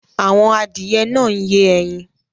Àwọn adìyẹ náà ń yé ẹyin